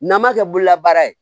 N'an ma kɛ bololabaara ye